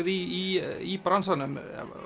í í bransanum